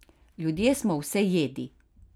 Ljudje smo vsejedi!